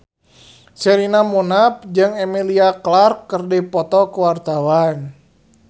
Sherina Munaf jeung Emilia Clarke keur dipoto ku wartawan